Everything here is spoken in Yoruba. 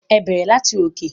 Ẹ bẹrẹ lati òkè.